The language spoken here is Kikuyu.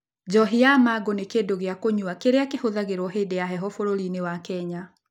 Njohi ya mango nĩ kĩndũ gĩa kũnyua kĩrĩa kĩhũthagĩrũo hĩndĩ ya heho bũrũri-inĩ wa Kenya.